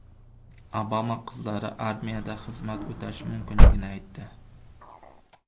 Obama qizlari armiyada xizmat o‘tashi mumkinligini aytdi.